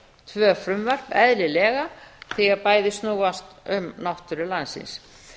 tvö frumvörp eðlilega því að bæði snúast um náttúru landsins